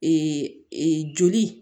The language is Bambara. joli